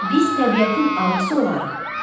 Biz təbiətin ağası olarıq.